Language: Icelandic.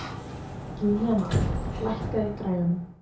Júlíana, lækkaðu í græjunum.